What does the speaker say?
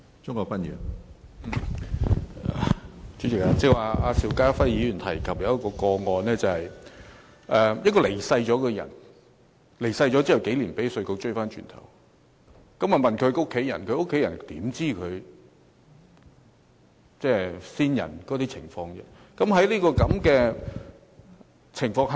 主席，邵家輝議員剛才提及一宗個案，某人已離世數年，卻被稅務局追收稅款，稅務局查問他的家人，他們怎會知道先人的財政狀況呢？